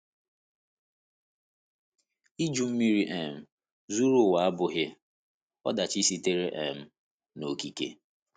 Iju Mmiri um zuru ụwa abụghị ọdachi sitere um n’okike.